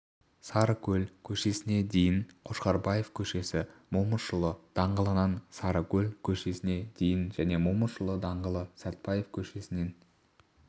сарыкөл көшесіне дейін қошқарбаев көшесі момышұлы даңғылынан сарыкөл көшесіне дейін және момышұлы даңғылы сәтпаев көшесінен